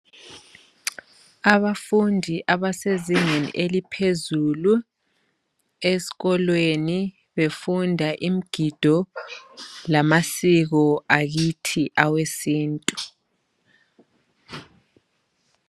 Abafundi abasezingeni eliphezulu esikolweni befunda imigido lamasiko akithi awesintu.